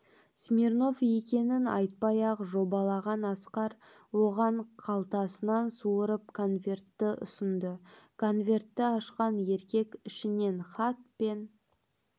смирнов екенін айтпай-ақ жобалаған асқар оған қалтасынан суырып конвертті ұсынды конвертті ашқан еркек ішінен хат пен